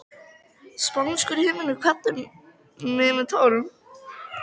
Spánskur himinn kvaddi mig með tárum.